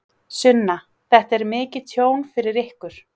Sunna: Þetta er mikið tjón fyrir ykkur?